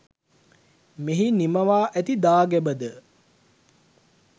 මෙහි නිමවා ඇති දාගැබද